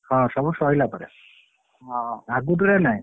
ହଁ ସବୁ ସଇଲା ପରେ ହଁ ଆଗୁତୁରା ନାହି।